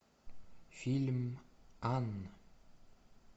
фильм анна